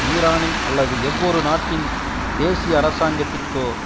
ஈரானின் அல்லது எந்வொரு நாட்டின் தேசிய அரசாங்கத்திற்கோ